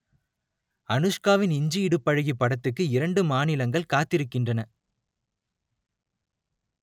அனுஷ்காவின் இஞ்சி இடுப்பழகி படத்துக்கு இரண்டு மாநிலங்கள் காத்திருக்கின்றன